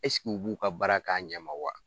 U b'u ka baara k'a ɲɛ ma wa ?